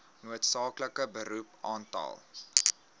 noodsaaklike beroep aantal